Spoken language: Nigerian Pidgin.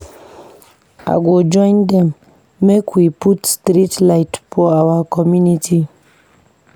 I go join dem make we put street light for our community.